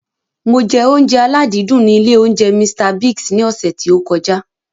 Mo jẹ oúnjẹ aládìídùn ní ilé oúnjẹ Mr Biggs ní ọsẹ̀ tí ó kọjá.